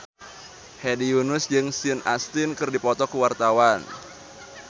Hedi Yunus jeung Sean Astin keur dipoto ku wartawan